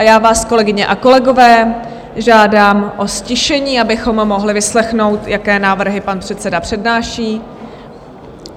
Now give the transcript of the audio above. A já vás, kolegyně a kolegové, žádám o ztišení, abychom mohli vyslechnout, jaké návrhy pan předseda přednáší.